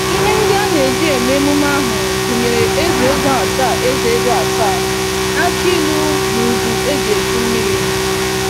Ihe ndị aneji eme emume ahụ gụnyere eze-ego asaa, eze-ego asaa, akị ilu, na udú eji echu mmiri.